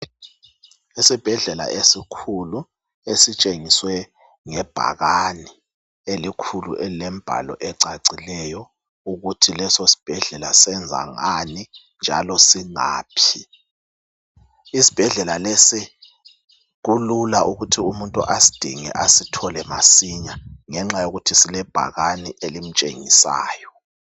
Isibhedlela esikhulu esitshengiswe ngebhakane elikhulu elilembhalo ecacileyo ukuthi leso sibhedlela senza ngani njalo singaphi ,isibhedlela lesi lesi kulula ukuthi umuntu asidinge asithole masinya ngenxa yokuthi silebhakane elimtshengisayo.